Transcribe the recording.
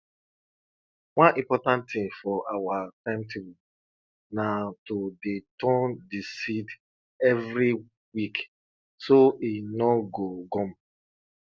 one important thing for our timetable na to dey turn di seed evri week so e nor go gum